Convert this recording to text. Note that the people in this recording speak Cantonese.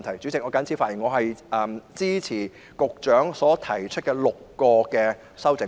主席，我謹此陳辭，支持局長提出的6項修正案。